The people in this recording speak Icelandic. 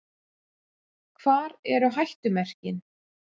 Hvar eru hættumerkin?